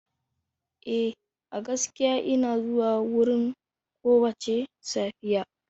Eh, a gaskiya ina zuwa wurin kowace safiya.